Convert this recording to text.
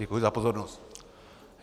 Děkuji za pozornost.